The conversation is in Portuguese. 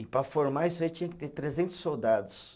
E para formar isso aí tinha que ter trezentos soldados.